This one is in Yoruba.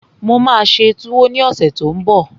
Mo máa ṣe túwó ní ọ̀sẹ̀ tó n bọ̀